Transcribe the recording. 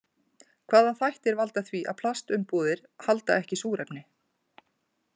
Hvaða þættir valda því að plastumbúðir halda ekki súrefni?